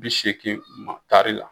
Bisegin ma tari la.